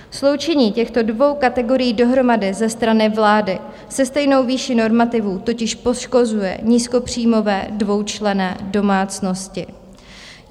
Sloučení těchto dvou kategorií dohromady ze strany vlády se stejnou výší normativů totiž poškozuje nízkopříjmové dvoučlenné domácnosti.